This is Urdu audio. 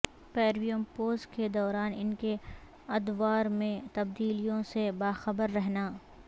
پیرویموپوز کے دوران ان کے ادوار میں تبدیلیوں سے باخبر رہنا